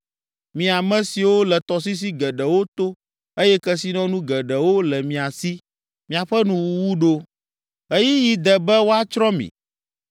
Mi ame siwo le tɔsisi geɖewo to eye kesinɔnu geɖewo le mia si, miaƒe nuwuwu ɖo, ɣeyiɣi de be woatsrɔ̃ mi,